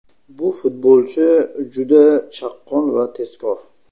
Bu futbolchi juda chaqqon va tezkor.